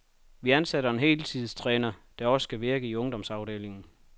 Vi ansætter en heltidstræner, der også skal virke i ungdomsafdelingen.